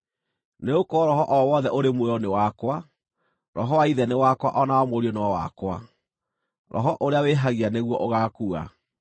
Nĩgũkorwo roho o wothe ũrĩ muoyo nĩ wakwa; roho wa ithe nĩ wakwa o na wa mũriũ no wakwa. Roho ũrĩa wĩhagia nĩguo ũgaakua.